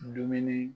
Dumuni